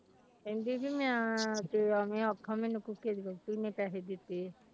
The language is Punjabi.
ਕਹਿੰਦੀ ਵੀ ਮੈਂ ਅੱਗੇ ਉਹਨੇ ਆਖਾਂ ਮੈਨੂੰ ਕੁੱਕੇ ਦੀ ਵਹੁਟੀ ਨੇ ਪੈਸੇ ਦਿੱਤੇ।